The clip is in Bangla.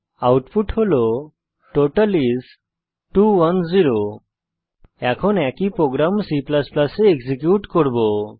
আউটপুট হল টোটাল আইএস 210 এখন একই প্রোগ্রাম C এ এক্সিকিউট করব